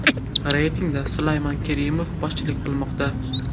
Reytingda Sulaymon Kerimov boshchilik qilmoqda.